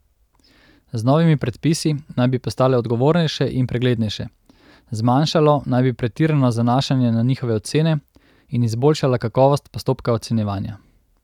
Z novimi predpisi naj bi postale odgovornejše in preglednejše, zmanjšalo naj bi pretirano zanašanje na njihove ocene in izboljšala kakovost postopka ocenjevanja.